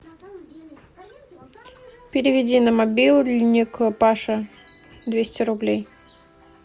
переведи на мобильник паше двести рублей